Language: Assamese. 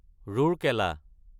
ৰৌৰকেলা